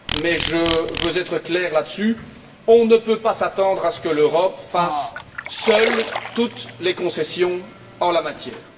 Mais je veux être clair là dessus on ne peut pas s'attendre à ce que l'Europe fasse seule toute les concessions en la matière.